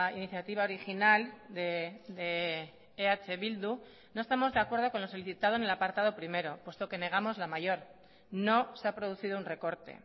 iniciativa original de eh bildu no estamos de acuerdo con lo solicitado en el apartado primero puesto que negamos la mayor no se ha producido un recorte